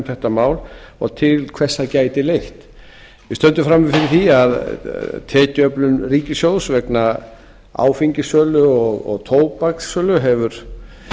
þetta mál og til hvers það gæti leitt við stöndum frammi fyrir því að tekjuöflun ríkissjóðs vegna áfengissölu og tóbakssölu hefur